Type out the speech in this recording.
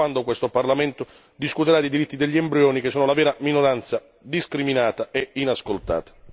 Mi chiedo quando questo Parlamento discuterà dei diritti degli embrioni, che sono la vera minoranza discriminata e inascoltata.